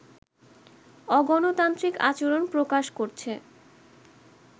অগণতান্ত্রিক আচরণ প্রকাশ করছে